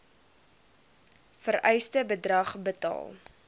vereiste bedrag betaal